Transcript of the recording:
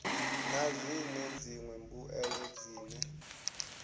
na zwine dziṅwe mbuelo dzine